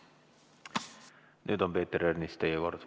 Nüüd on, Peeter Ernits, teie kord.